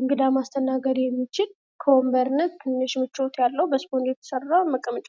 እንግዳ ማስተናገድ የሚችል ከወንበርነት ትንሽ ምቾት ያለው በስፖንጅ የተሰራ መቀመጫ ነው ::